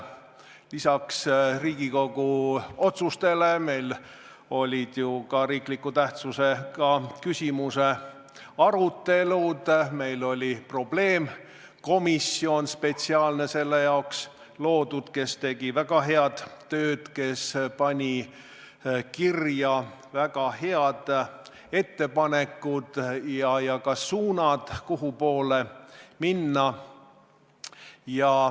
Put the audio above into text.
Lisaks Riigikogu otsustele olid meil ka olulise tähtsusega riiklike küsimuste arutelud, meil oli spetsiaalne probleemkomisjon selle jaoks loodud, kes tegi väga head tööd ja pani kirja väga head ettepanekud ja suunad, kuhupoole minna.